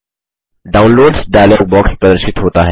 downloads dialogue box प्रदर्शित होता है